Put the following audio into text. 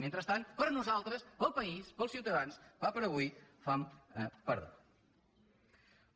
mentrestant per nosaltres pel país pels ciutadans pa per a avui fam per a demà